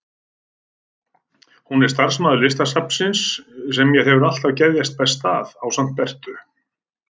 Hún er sá starfsmaður Listasafnsins sem mér hefur alltaf geðjast best að, ásamt Beru.